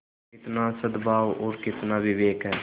कितना सदभाव और कितना विवेक है